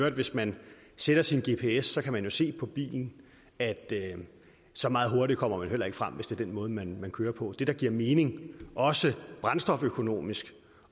at hvis man sætter sin gps kan man se på bilen at så meget hurtigere kommer man heller ikke frem hvis det er den måde man kører på det der giver mening også brændstoføkonomisk